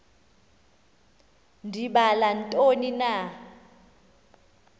ndibala ntoni na